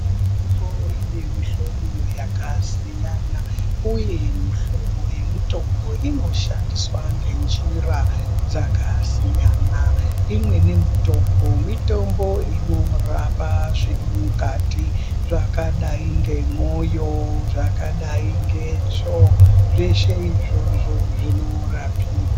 Tongo ine muhlobo yakasiyana uye muhlobo yemutongo inoshandiswa ngenjira dzakasiyana imweni mitombo mitombo inorapa zviri mukati zvakadai ngemwoyo zvakadai ngetsvonzveshe izvozvo zvinorapika.